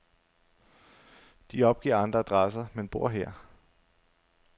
De opgiver andre adresser, men bor her.